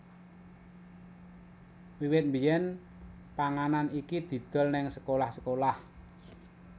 Wiwit biyen panganan iki didol neng sekolah sekolah